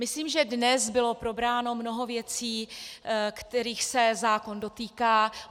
Myslím, že dnes bylo probráno mnoho věcí, kterých se zákon dotýká.